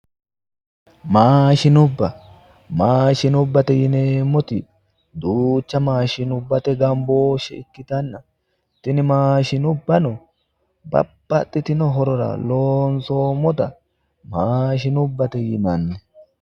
Maashinubba, maashinubba yinneemmoti duucha maashinubbate gambooshe ikkittanna tini maashinubbano babbaxxitino horora loonsonnita maashinubbate yinnanni